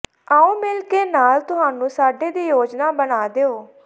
ਆਓ ਮਿਲ ਕੇ ਨਾਲ ਤੁਹਾਨੂੰ ਸਾਡੇ ਦੀ ਯੋਜਨਾ ਬਣਾ ਦਿਉ